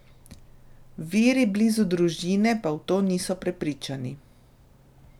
Viri blizu družine pa v to niso prepričani.